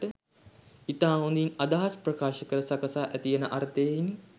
ඉතා හොඳින් අදහස් ප්‍රකාශකර සකසා ඇතියන අර්ථයෙනි